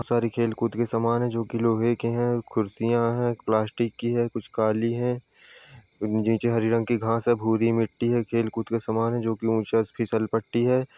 सारे खेलकूद के समान है जो कि लोहे के हैं कुर्सियां हैं प्लास्टिक की हैं कुछ काली हैं | नीचे हरी रंग की घास है भूरी मिट्टी है खेलकूद का सामान जो कि ऊँचा फिसल पट्टी है।